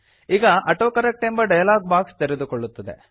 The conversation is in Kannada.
ಈಗ ಆಟೋಕರೆಕ್ಟ್ ಎಂಬ ಡಯಲಾಗ್ ಬಾಕ್ಸ್ ತೆರೆದುಕೊಳ್ಳುತ್ತದೆ